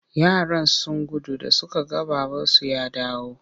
Yaran sun gudu da suka ga babansu ya dawo.